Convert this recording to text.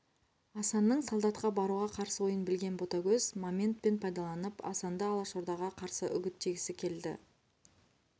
асанның солдатқа баруға қарсы ойын білген ботагөз моментпен пайдаланып асанды алашордаға қарсы үгіттегісі келді